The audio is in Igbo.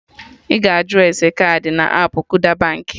Ị ga-ajụ ese kaadị na appụ Kuda Baankị